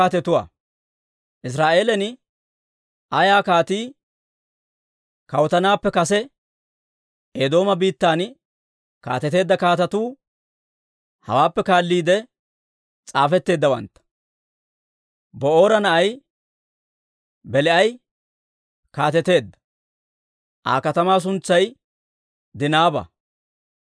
Israa'eelan ayaa kaatii kawutanappe kase Eedooma biittan kaateteedda kaatetuu hawaappe kaalliide s'aafetteeddawantta. Ba'oora na'ay Belaa'i kaateteedda; Aa katamaa suntsay Dinaaba.